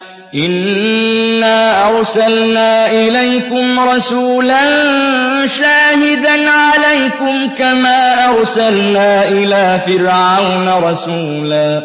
إِنَّا أَرْسَلْنَا إِلَيْكُمْ رَسُولًا شَاهِدًا عَلَيْكُمْ كَمَا أَرْسَلْنَا إِلَىٰ فِرْعَوْنَ رَسُولًا